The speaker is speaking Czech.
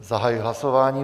Zahajuji hlasování.